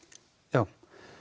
já